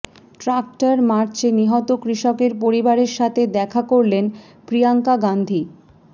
tractor মার্চে নিহত কৃষকের পরিবারের সাথে দেখা করলেন প্রিয়াঙ্কা গান্ধী